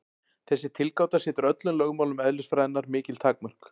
Þessi tilgáta setur öllum lögmálum eðlisfræðinnar mikil takmörk.